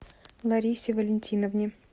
ларисе валентиновне